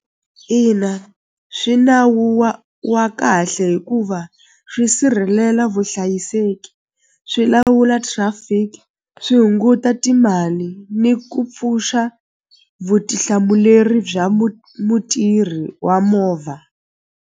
Ina swi nawu wa wa kahle hikuva swi sirhelela vuhlayiseki swi lawula traffic swi hunguta timali ni ku pfuxa vutihlamuleri bya mutirhi wa movha.